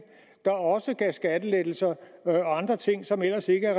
der også gav skattelettelser og andre ting som ellers ikke er